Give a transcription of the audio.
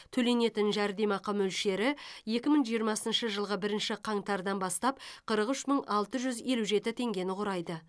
төленетін жәрдемақы мөлшері екі мың жиырмасыншы жылғы бірінші қаңтардан бастап қырық үш мың алты жүз елу жеті теңгені құрайды